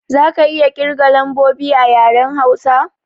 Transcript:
Za ka iya kirga lambobi a yaren Hausa?